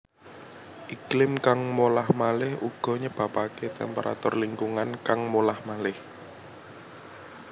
Iklim kang molah maleh uga nyebabaké temperatur lingkungan kang molah malih